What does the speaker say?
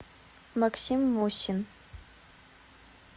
максим мосин